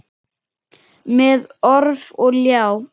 Með orf og ljá.